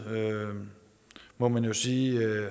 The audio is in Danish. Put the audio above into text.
må man jo sige